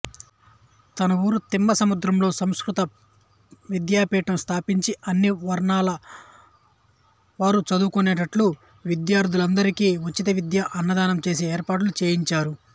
తన ఊరు తిమ్మసముద్రంలో సంస్కృత విద్యాపీఠం స్థాపించి అన్ని వర్ణాలవారు చదువుకునేట్లు విద్యార్థులందరికీ ఉచితవిద్య అన్నదానం చేసే ఏర్పాట్లు చేయించారు